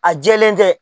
A jɛlen tɛ